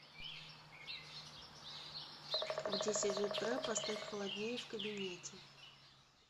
в десять утра поставь холоднее в кабинете